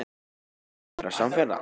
Eigum við ekki að verða samferða?